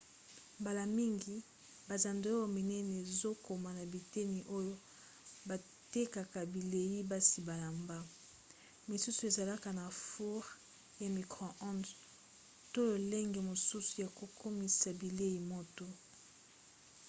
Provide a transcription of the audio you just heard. mbala mingi bazando ya minene ezokoma na biteni oyo batekaka bilei basi balamba. misusu ezalaka na foure ya micro-ondes to lolenge mosusu ya kokomisa bilei moto